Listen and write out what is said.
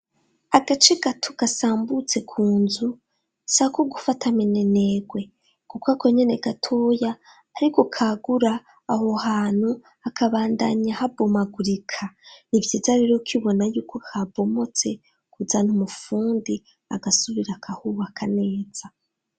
Agace gato gasambutse ku nzu, si ako gufata mininerwe. Kuko Ako nyene gatoya ariko kagura aho hantu, hakabandanya habomagurika. Ni vyiza rero ukibona yuko habomotse, kuzana umufundi agasubira akahubaka neza.